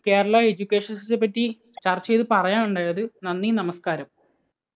Kerala education system ത്തെപ്പറ്റി ചർച്ച ചെയ്ത് പറയാനുണ്ടായത്. നന്ദി, നമസ്കാരം.